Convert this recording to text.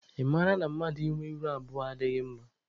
Ị mara na mmadụ ị nwe ihu abụọ adịghị mama?